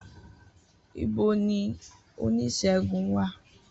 Ibo ni oníṣègùn wà?